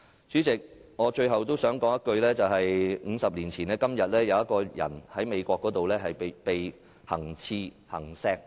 主席，我最後想說 ，50 年前的今天，羅拔.甘迺迪在美國被行刺身亡。